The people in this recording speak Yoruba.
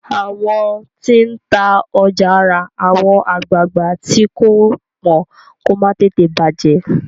àwọn tí n tá ọjà rà àwọn agbagba tii ko pọn kò má tètè bajẹ